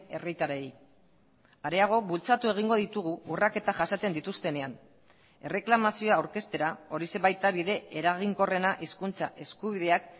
herritarrei areago bultzatu egingo ditugu urraketa jasaten dituztenean erreklamazioa aurkeztera horixe baita bide eraginkorrena hizkuntza eskubideak